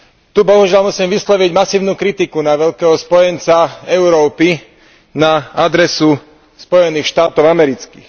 Tu, bohužiaľ, musím vysloviť masívnu kritiku na veľkého spojenca Európy, na adresu Spojených štátov amerických.